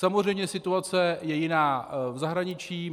Samozřejmě situace je jiná v zahraničí.